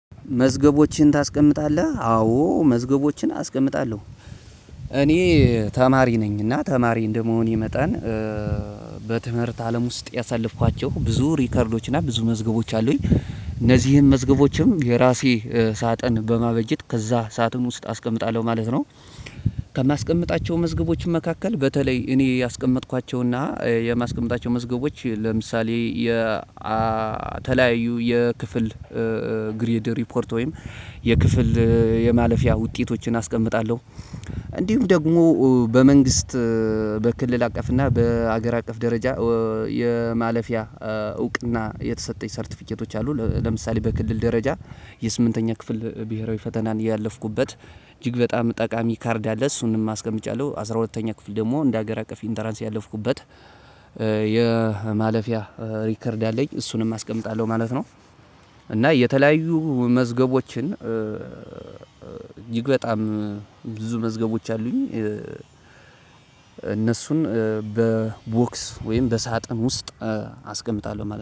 መዝገቦችን ታስቀምጣለህ አዎ መዝገቦችን አስቀምጣለሁ። እኔ ተማሪ ነኝ እና ተማሪ እንደመሆኔ መጣን በትምህርት አለም ውስጥ ያሳለፍኳቸው ብዙ ሪከርዶች እና ብዙ መዝገቦች አሉኝ። እነዚህን መዝገቦችም የራሴ ሳጥን በማበጀት ከዛ ሳጥን ውስጥ አስቀምጣለሁ ማለት ነው። ከማስቀምጣቸው መዝገቦች መካከል በተለይ እኔ ያስቀመጥኳቸው እና የማስቀምጣቸው መዝገቦች ለምሳሌ የ አ ተለያዩ የክፍል ግሬድ ሪፖርት ወይም የክፍል የማለፊያ ውጤቶችን አስቀምጣለሁ። እንዲሁም ደግሞ በመንግስት በክልል አቀፍ እና በሀገር አቀፍ ደረጃ የማለፊያ እውቅና የተሰጠኝ ሰርተፊኬቶች አሉ። ለምሳሌ በክልል ደረጃ የስምንተኛ ክፍል ብሄራዊ ፈተናን ያለፍኩበት እጅግ በጣም ጠቃሚ ካርድ አለ። እሱንም አስቀምጫለሁ አስራ ሁለተኛ ክፍል ደግሞ እንደ ሀገር አቀፍ ኢንተራንስ ያለፍኩበት የማለፊያ ሪከርድ አለኝ እሱንም አስቀምጣለሁ ማለት ነው። እና የተለያዩ መዝገቦችን እጅግ በጣም ብዙ መዝገቦች አሉኝ። እነሱን በቦክስ ወይም በሳጥን ውስጥ አስቀምጣለሁ ማለት ነው